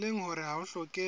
leng hore ha ho hlokehe